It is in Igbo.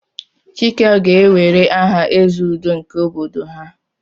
Chike ga-ewere aha "Eze Udo" nke obodo ha."